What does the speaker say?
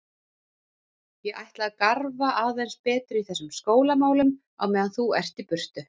Ég ætla að garfa aðeins betur í þessum skólamálum á meðan þú ert í burtu.